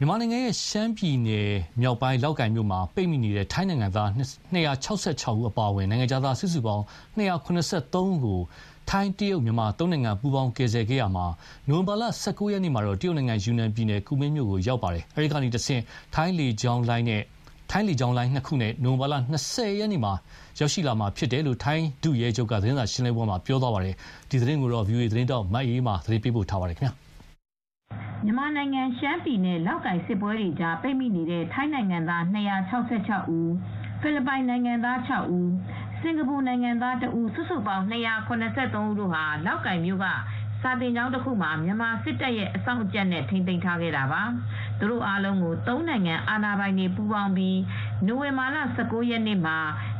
မြန်မာနိုင်ငံ ရှမ်းပြည်နယ်မြောက်ပိုင်း လောက်ကိုင်မြို့မှာပိတ်မိနေတဲ့ ထိုင်းနိုင်ငံသား ၂၆၆ အပါအဝင် နိုင်ငံခြားသား စုစုပေါင်း ၂၇၃ ဦးကို ထိုင်း၊ တရုတ်၊ မြန်မာ ၃ နိုင်ငံပူးပေါင်းကယ်ဆယ်ခဲ့ရာမှာ နိုဝင်ဘာလ ၁၉ ရက်နေ့မှာ တရုတ်နိုင်ငံ ယူနန်ပြည်နယ် ကူမင်းမြို့ကိုရောက်ရှိနေပါပြီ။ အဲဒီကတဆင့် ထိုင်းလေကြောင်းလိုင်း ၂ ခုနဲ့နိုဝင်ဘာလ ၂၀ ရက်နေ့မှာ ထိုင်းနိုင်ငံကို ရောက်ရှိလာမှာဖြစ်ကြောင်း ထိုင်းဒုရဲချုပ် က သတင်းစာရှင်းလင်းပွဲမှာပြောပါတယ်။ ဒီသတင်းကို ဗွီအိုအေ သတင်းထောက် မအေးအေးမာက သတင်းပေးပို့ထားပါတယ်။ မြန်မာနိုင်ငံ ရှမ်းပြည်နယ်မှာ လောက်ကိုင်စစ်ပွဲတွေကြားပိတ်မိနေတဲ့ ထိုင်းနိုင်ငံသား ၂၆၆ ဦး ဖိလစ်ပိုင်နိုင်ငံသား ၆ ဦး၊ စင်္ကာပူနိုင်ငံသား ၁ ဦးနဲ့ စုစုပေါင်း ၂၇၃ ဦးကို လောက်ကိုင်မြို့ကစာသင်ကျောင်းတခုမှာ မြန်မာစစ်တပ်ရဲ့အစောင့်အကြပ်နဲ့ ထိန်းသိမ်းထားတာပါ။ သူတို့အားလုံးကို သုံးနိုင်ငံ အာဏာပိုင်တွေပူးပေါင်းပြီး နိုဝင်ဘာလ ၁၉ ရက်နေ့မှာ